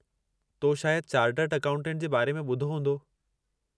तो शायदि chartered accountant जे बारे में ॿुधो हूंदो?